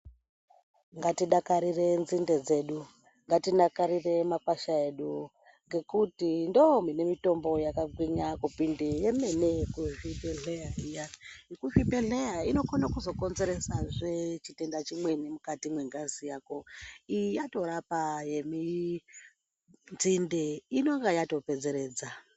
Ngatidakarire nzinde dzedu, ngatidakarire makwasha edu, ngekuti ndo mune mitombo yakagwinya kupinde yemene yekuzvibhedhleya iya. Yekuzvibhedhleya inokone kuzokonzeresazve chitenda chimweni mukati mwengazi yako, iyi yatorapa yeminzinde inenge yatopedzeredza.